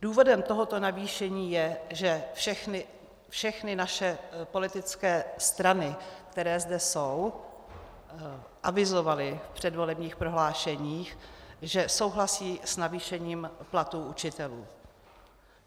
Důvodem tohoto navýšení je, že všechny naše politické strany, které zde jsou, avizovaly v předvolebních prohlášeních, že souhlasí s navýšením platů učitelů.